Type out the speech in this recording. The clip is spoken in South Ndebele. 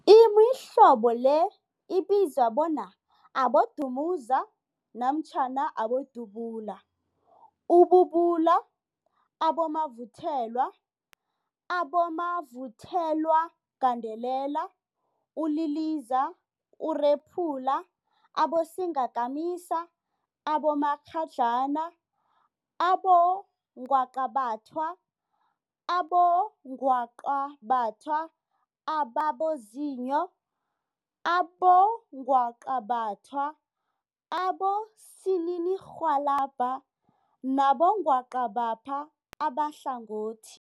Imihlobo le ibizwa bona, abodumuza namtjhana abodubula, ububula, abomavuthelwa, abomavuthelwagandelela, uliliza, urephula, abosingakamisa, abomakghadlana, abongwaqabathwa, abongwaqabathwa ababozinyo, abongwaqabathwa abosininirhwalabha nabongwaqabatha abahlangothi.